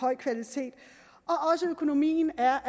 høj kvalitet økonomien er